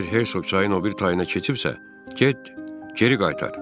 Əgər Hersoq çayın o biri tayına keçibsə, get geri qaytar.